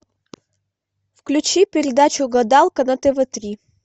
включи передачу гадалка на тв три